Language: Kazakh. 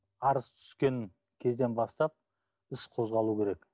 арыз түскен кезден бастап іс қозғалу керек